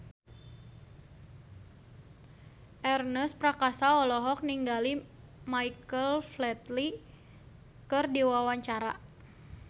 Ernest Prakasa olohok ningali Michael Flatley keur diwawancara